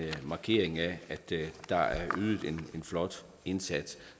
markering af at der er ydet en flot indsats